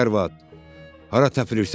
Ay arvad, hara təpilirsən?